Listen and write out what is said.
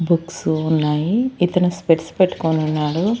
Books ఉన్నాయి ఇతను specs పెట్టుకోనున్నాడు.